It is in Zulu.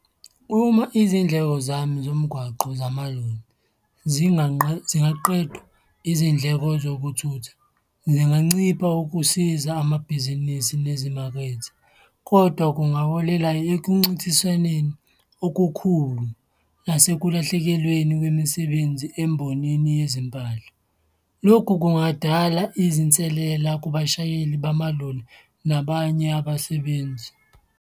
Uma izindleko zomgwaqo zamaloli zingaqedwa, izindleko zokuthutha zingancipha ukusiza amabhizinisi nezimakethe kodwa kungaholela ekuncintiswaneni okukhulu nase kulahlekelweni kwemisebenzi embonini yezimpahla. Lokhu kungadala izinselela kubashayeli bamaloli nabanye abasebenzi.